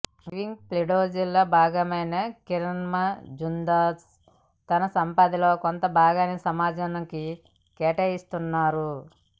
giving ప్లెడ్జ్లో భాగమైన కిరణ్మజుందార్షా తన సంపదనలో కొంతభాగాన్ని సమాజానికి కేటాయిస్తున్నారు